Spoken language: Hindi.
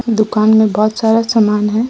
दुकान में बहुत सारा सामान है ।